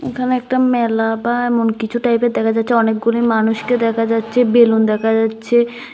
এখানে একটা মেলা বা এমন কিছু টাইপের দেখা যাচ্ছে অনেকগুলি মানুষকে দেখা যাচ্ছে বেলুন দেখা যাচ্ছে।